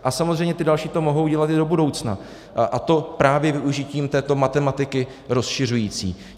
A samozřejmě ty další to mohou dělat i do budoucna, a to právě využitím této matematiky rozšiřující.